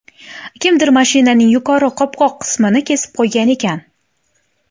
Kimdir mashinaning yuqori qopqoq qismini kesib qo‘ygan ekan.